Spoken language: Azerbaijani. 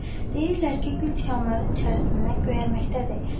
Deyirlər ki, gül tikanların içərisindən göyərməkdədir.